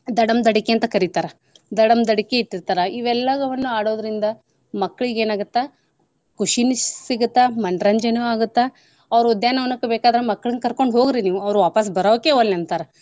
ದಡಂ ದಡಿಕಿ ಅಂತ್ ಕರಿತಾರ, ದಡಂ ದಡಿಕಿ ಇಟ್ಟಿರ್ತಾರ ಇವೆಲ್ಲವನ್ನ ಆಡೋದ್ರಿಂದ ಮಕ್ಳಿಗ್ ಏನ್ ಆಗತ್ತಾ ಖುಷಿನೂ ಸಿಗುತ್ತ ಮನರಂಜನೆನೂ ಆಗುತ್ತ ಅವ್ರ ಉದ್ಯಾನ ವನಕ್ ಬೇಕಾದ್ರ ಮಕ್ಳನ್ ಕರ್ಕೊಂಡ್ ಹೋಗ್ ರಿ ನೀವು ಅವ್ರ ವಾಪಸ್ ಬರೋಕೆ ಒಲ್ಲೆ ಅಂತಾರ.